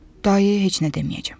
Dayəyə heç nə deməyəcəm.